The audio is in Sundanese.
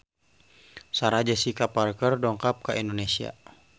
Sarah Jessica Parker dongkap ka Indonesia